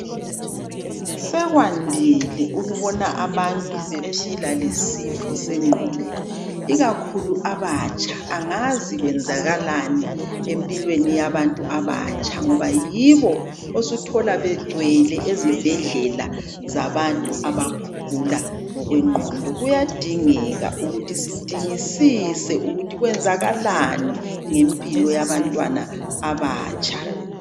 Sekwandile ukubona abantu bephila lesifo sengqondo ikakhulu abatsha, angazi kwenzakalani empilweni yabantu abatsha ngoba yibo osuthola begcwele ezibhedlela zabantu abagula ngokwengqondo, kuyadingeka ukuthi sidingisise ukuthi kwenzakalani ngempilo yabantwana abatsha.